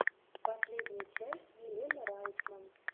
последняя часть елена райтман